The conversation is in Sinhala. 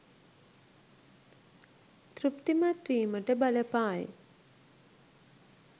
තෘප්තිමත් වීමට බලපායි.